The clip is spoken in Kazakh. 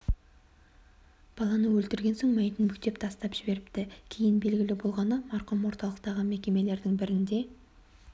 баланы өлтірген соң мәйітін бүктеп тесіктен тастап жіберіпті кейін белгілі болғаны марқұм орталықтағы мекемелердің бірінде